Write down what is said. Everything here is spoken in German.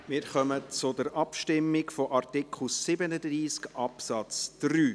Wir kommen zur Abstimmung zu Artikel 37 Absatz 3.